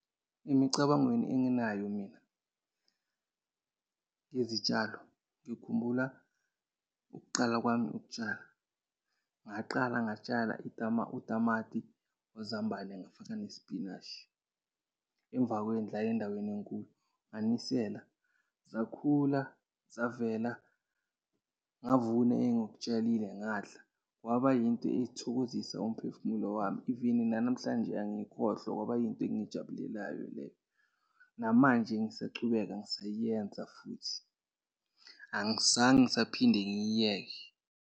Emicabangweni enginayo mina ngezitshalo, ngikhumbula ukuqala kwami ukutshala. Ngaqala ngatshala utamati wezambane, ngafaka nesipinashi emva kwendlu, hhayi endaweni enkulu. Nganisela zakhula, zavela ngavuna engikutshalile, ngadla. Kwaba yinto ethokozisa umphefumulo wami, even nanamhlanje angiyikhohlwa, kwaba yinto engiyijabulelayo leyo. Namanje ngisachubeka ngisayiyenza futhi, angizange ngisaphinde ngiyiyeke.